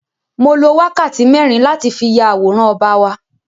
Mo lo wákàtí mẹ́rin láti fí ya àwòrán ọba wa.